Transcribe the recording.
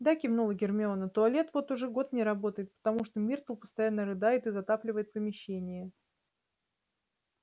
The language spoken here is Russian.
да кивнула гермиона туалет вот уже год не работает потому что миртл постоянно рыдает и затапливает помещение